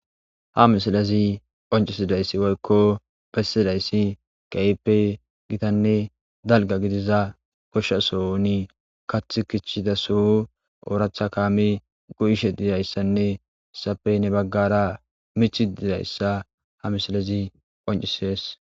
ha misilazi oncisidayssi woykko bessidayssi gayippe gitanne dalga gidiza koshshasoni kath kichchidaso ooracha kaami go7ishe dizayssanne sapey ne baggara michi dizayssa ha misilazi oncisees